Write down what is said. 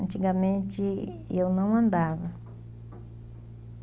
Antigamente eu não andava.